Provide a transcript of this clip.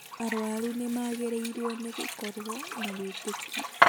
Arwaru nĩmagĩrĩrirwo nĩ gũkorwo na wĩtĩkio